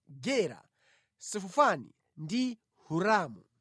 Gera, Sefufani ndi Hiramu.